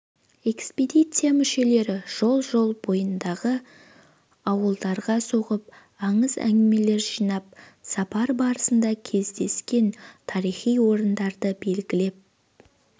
экспедиция мүшелері жол жол бойындағы ауылдарға соғып аңыз-әңгімелер жинап сапар барысында кездескен тарихи орындарды белгілеп